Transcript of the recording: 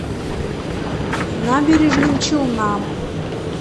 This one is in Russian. набережным челнам